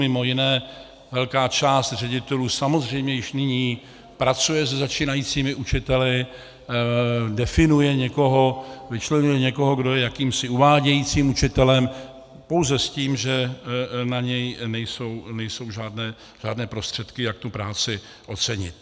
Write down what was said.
Mimo jiné velká část ředitelů samozřejmě již nyní pracuje se začínajícími učiteli, definuje někoho, vyčleňuje někoho, kdo je jakýmsi uvádějícím učitelem, pouze s tím, že na něj nejsou žádné prostředky, jak tu práci ocenit.